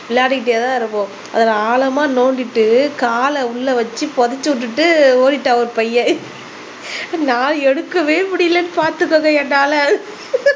விளையாடிக்கிட்டேதான் இருப்போம் அத ஆழமா நோண்டிட்டு கால உள்ள வச்சு புதைச்சு விட்டுட்டு ஓடிட்டான் ஒரு பையன் நான் எடுக்கவே முடியலைன்னு பாத்துக்கோங்க என்னால